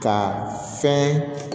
Ka fɛn